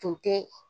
Tun tɛ